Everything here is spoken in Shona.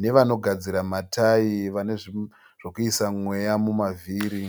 nevanogadzira matai vane zvi zvokuisa mweya mumavhiri.